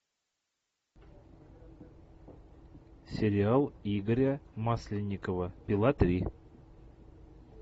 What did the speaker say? сериал игоря масленникова пила три